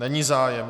Není zájem.